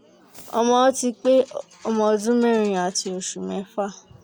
ọmọ mi ti pé ọmọ ọdún mẹ́rin àti oṣù mẹ́fà